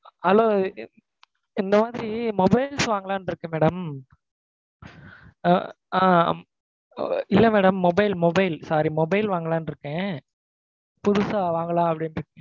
Hello இந்த மாதிரி mobiles வாங்கலாம்னு இருக்கேன் madam. அஹ் ஹம் அஹ் இல்ல madam mobile, mobile. sorry mobile வாங்கலாம்னு இருக்கேன். புதுசா வாங்கலாம் அப்பிடின்னு,